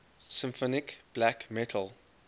symphonic black metal